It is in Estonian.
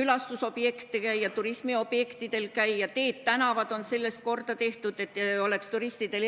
külastusobjektidel ja turismiobjektidel käia, ka teed-tänavad on sellest korda tehtud, et oleks turistidel hea.